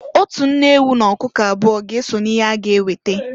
Otu nne ewu n'ọkụkụ abụọ ga-eso n'ihe a ga-eweta.